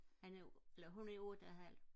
han er eller hun er otte og et halvt